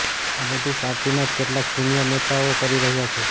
આ બધુ પાર્ટીના જ કેટલાંક સિનીયર નેતાઓ કરી રહ્યાં છે